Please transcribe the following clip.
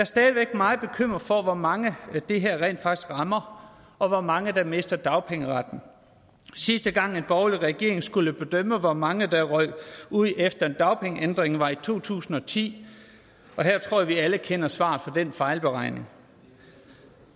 stadig væk meget bekymret for hvor mange det her rent faktisk rammer og hvor mange der mister dagpengeretten sidste gang en borgerlig regering skulle bedømme hvor mange der røg ud efter en dagpengeændring var i to tusind og ti og her tror jeg vi alle kender svaret på den fejlberegning